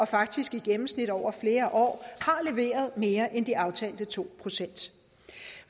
faktisk i gennemsnit over flere år leveret mere end de aftalte to procent